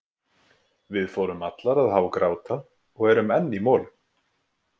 Við fórum allar að hágráta og erum enn í molum.